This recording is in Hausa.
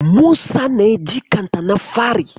Musa ne jikanta na fari.